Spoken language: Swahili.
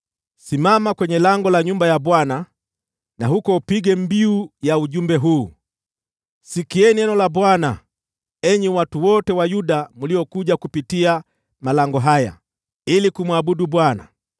“Simama kwenye lango la nyumba ya Bwana , na huko upige mbiu ya ujumbe huu: “ ‘Sikieni neno la Bwana , enyi watu wote wa Yuda mliokuja kupitia malango haya ili kumwabudu Bwana .